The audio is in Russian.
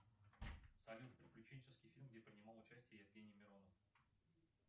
салют приключенческий фильм где принимал участие евгений миронов